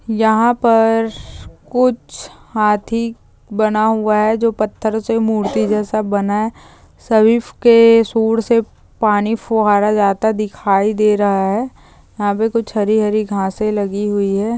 यहा पर कुछ हाथी बना हुआ है जो पत्थरोसे मूर्ति जैसा बनाया है सभी के सूंड से पानी फुआड़ा जा जाता है दिखाई दे रहा है यहा पे कुछ हरी-हरी घासे लगी हुई है।